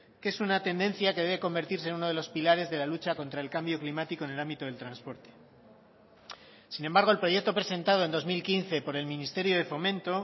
que es una tendencia que debe convertirse en uno de los pilares de la lucha contra el cambio climático en el ámbito del transporte sin embargo el proyecto presentado en dos mil quince por el ministerio de fomento